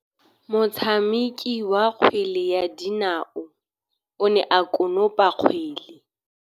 Motshameki wa kgwele ya dinaô o ne a konopa kgwele.